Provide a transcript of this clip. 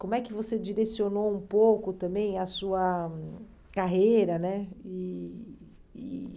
Como é que você direcionou um pouco também a sua carreira, né? E e